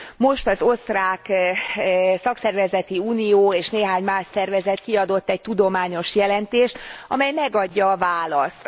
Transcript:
Most az osztrák szakszervezeti unió és néhány más szervezet kiadott egy tudományos jelentést, amely megadja a választ.